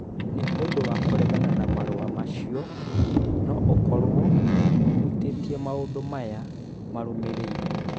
Nĩ ũndũ wa kũregana na marũa macio no ũkorũo ũhutĩtie maũndũ maya marũmĩrĩire: